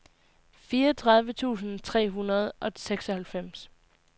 fireogtredive tusind tre hundrede og seksoghalvfems